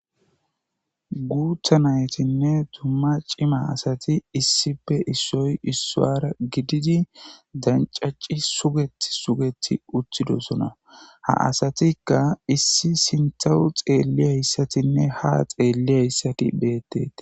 Guuta nayotine cima asati issipe issoy isuwra gidid dancaci sugeti sugeti utidosona ha asatika issi sintawu xeliyaysaatinne ha xeliyayisati betetes, .